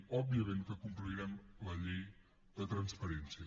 òbviament que complirem la llei de transparència